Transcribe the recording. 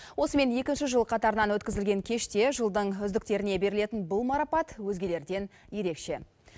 осымен екінші жыл қатарынан өткізілген кеште жылдың үздіктеріне берілетін бұл марапат өзгелерден ерекше